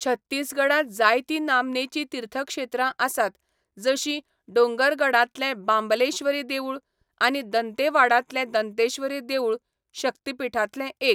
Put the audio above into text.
छत्तीसगडांत जायतीं नामनेचीं तीर्थक्षेत्रां आसात, जशीं डोंगरगडांतलें बांबलेश्वरी देवूळ आनी दंतेवाडांतलें दंतेश्वरी देवूळ, शक्तीपीठांतलें एक.